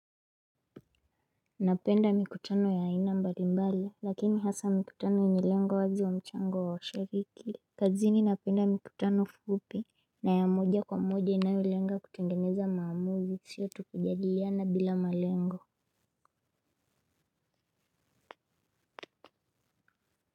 Napenda mikutano ya ina mbali mbali lakini hasa mikutano yenye lengo wazi wa mchango wa shariki. Kazini napenda mikutano fupi. Na ya moja kwa moja inayolenga kutengeneza maamuzi siyo tu kujadiliana bila malengo.